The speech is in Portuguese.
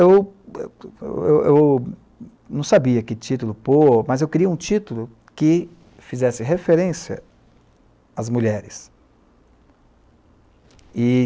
Então eu, eu, eu não sabia que título pôr, mas eu queria um título que fizesse referência às mulheres. E...